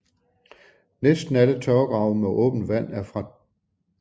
Næsten alle tørvegrave med åbent vand er fra 2